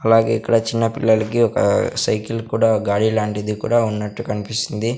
అలాగే ఇక్కడ చిన్న పిల్లలకి ఒక సైకిల్ కూడా గాడి లాంటిది కూడా ఉన్నట్టు కన్పిస్తుంది.